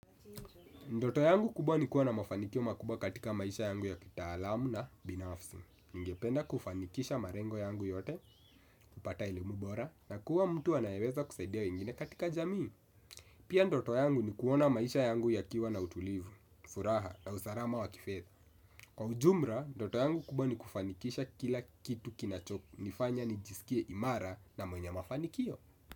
Ndoto yangu kubwa ni kuwa na mafanikio makubwa katika maisha yangu ya kitaalamu na binafsi. Ningependa kufanikisha marengo yangu yote, kupata elimu bora na kuwa mtu anayeweza kusaidia wengine katika jamii. Pia ndoto yangu ni kuona maisha yangu yakiwa na utulivu, furaha na usalama wa kifedha. Kwa ujumra, ndoto yangu kubwa ni kufanikisha kila kitu kinachonifanya nijisikie imara na mwenye mafanikio.